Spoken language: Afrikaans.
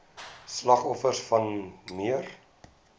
slagoffers wan neer